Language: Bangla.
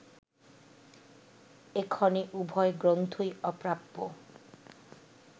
এক্ষণে উভয় গ্রন্থই অপ্রাপ্য